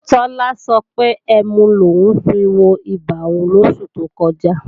Tọ́lá sọ wípé ẹmu lòún fiwobà òun lósù tó kọjá